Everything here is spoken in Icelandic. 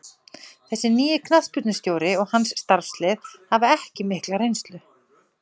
Þessi nýi knattspyrnustjóri og hans starfslið hafa ekki mikla reynslu.